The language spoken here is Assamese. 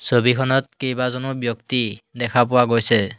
ছবিখনত কেইবাজনো ব্যক্তি দেখা পোৱা গৈছে।